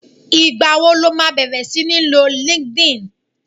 igba wo lo ma bèrè sini lò linkedin